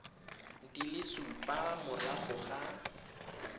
di le supa morago ga